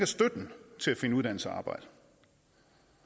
støtten til at finde uddannelse